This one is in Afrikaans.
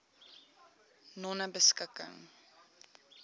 nonebeskikking